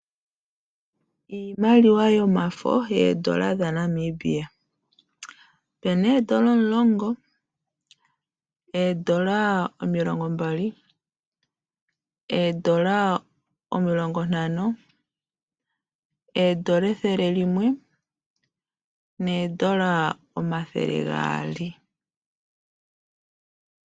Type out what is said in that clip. Iimaliwa yomafo yoondola dhaNamibia. Opena oondola omulongo, omilongo mbali, omilongo ntano, ethele nosho woo oondoola omathele gaali.